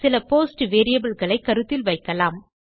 சில post variable களை கருத்தில் வைக்கலாம்